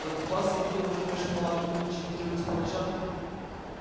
так у вас сергей владимирович мулатки нынче котируются по ночам